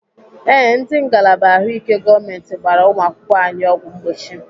Ee, ndị ngalaba ahụike gọọmenti gbara ụmụakwụkwọ anyị ọgwụ mgbochi.